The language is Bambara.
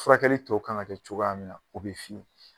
Furakɛli tɔw kan ka kɛ cogoya min na o bɛ fɔ